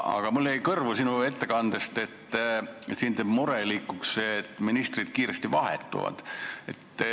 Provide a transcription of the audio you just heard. Aga mulle jäi sinu ettekandest kõrvu, et sind teeb murelikuks see, et ministrid kiiresti vahetuvad.